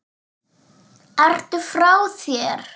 Ertu frá þér!?